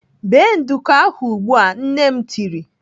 "Bee nduku ahụ ugbu a!" Nne m tiri.